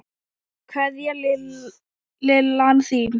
Kveðja, Lillan þín.